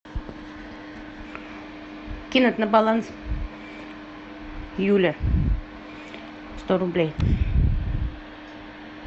кинуть на баланс юля сто рублей